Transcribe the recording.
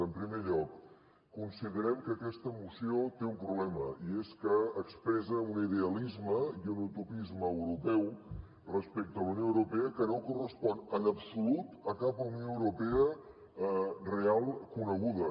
en primer lloc considerem que aquesta moció té un problema i és que expressa un idealisme i un utopisme europeu respecte a la unió europea que no correspon en absolut a cap unió europea real coneguda